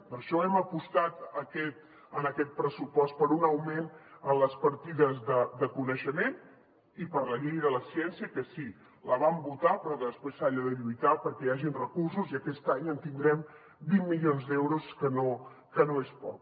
per això hem apostat en aquest pressupost per un augment en les partides de coneixement i per la llei de la ciència que sí la vam votar però després s’ha de lluitar perquè hi hagin recursos i aquest any tindrem vint milions d’euros que no és poc